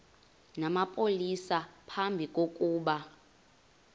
namapolisa phambi kokuba